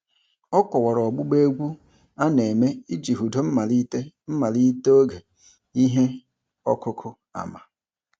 Ọ kọwara ọgbụgba egwu a na-eme iji hudo mmalite mmalite oge ihe ọkụkụ ama.